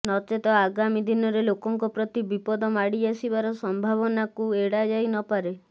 ନଚେତ ଆଗାମୀ ଦିନରେ ଲୋକଙ୍କ ପ୍ରତି ବିପଦ ମାଡି ଆସିବାର ସମ୍ଭାବିନା କୁ ଏଡାଯାଇ ନପାରେ